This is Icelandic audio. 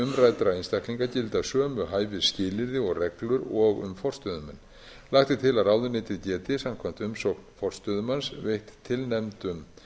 umræddra einstaklinga gilda sömu hæfisskilyrði og reglur og um forstöðumenn lagt er til að ráðuneytið geti samkvæmt umsókn forstöðumanns veitt tilnefndum